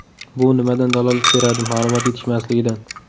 Bu nimadan dalolat beradi ma’lumot yetishmasligidan.